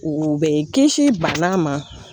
U bɛ kisi bana ma